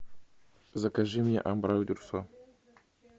закажи мне абрау дюрсо